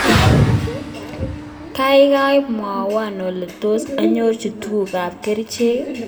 Kaikai mwowon ole tos anyorchi tuget ap keriche.